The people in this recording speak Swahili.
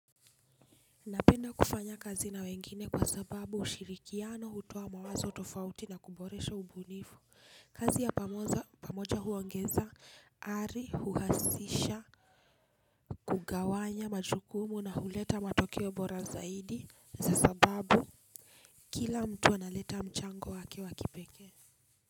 Napenda kufanya kazi na wengine kwa sababu ushirikiano hutoa mawazo tofauti na kuboresha ubunifu, kazi ya pamoja huongeza, ari, huhasisha, kugawanya, majukumu na huleta matokeo bora zaidi za sababu kila mtu analeta mchango wake wa kipekee.